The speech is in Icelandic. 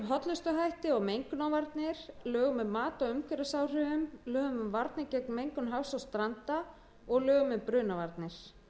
hollustuhætti og mengunarvarnir lögum um mat á umhverfisáhrifum lögum um varnir gegn mengun hafs og stranda og lögum um brunavarnir